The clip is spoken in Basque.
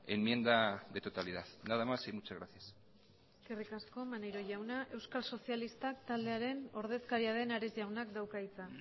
enmienda de totalidad nada más y muchas gracias eskerrik asko maneiro jauna euskal sozialistak taldearen ordezkaria den ares jaunak dauka hitza